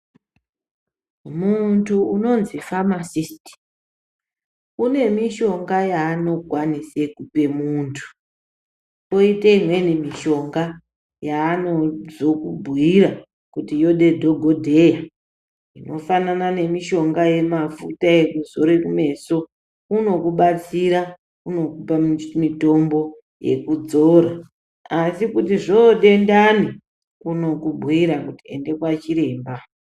Muntu unonzi famasisiti unemushonga yaanokwanise kupe muntu. Poite imweni mishonga yaanozokubhuira kuti yode dhogodheya. Inofanana nemishonga yemafuta ekuzore kumeso unokubatsira, unokupa mitombo yekudzora. Asi kuti zvoode ndani, unokubhuira kuti ende kwachiremba.